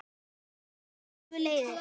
Það eru alveg leiðir.